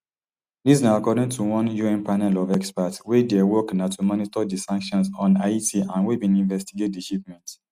dis na according to one un panel of experts wey dia work na to monitor di sanctions on haiti and wey bin investigate di shipment